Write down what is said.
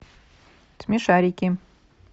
смешарики